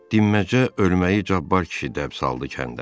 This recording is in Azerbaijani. Dinməzcə ölməyi Cabbar kişi dəb saldı kəndə.